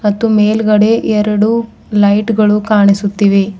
ಮತ್ತು ಮೇಲ್ಗಡೆ ಎರಡು ಲೈಟ್ ಗಳು ಕಾಣಿಸುತ್ತಿವೆ.